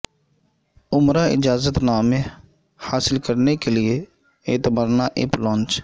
عمرہ اجازت نامہ حاصل کرنے کے لیے اعتمرنا ایپ لانچ